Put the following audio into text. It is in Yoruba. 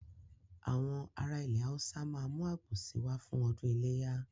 Àwọn ará ilẹ̀ Haúsá ma mú àgbò si wá fún ọdún iléyà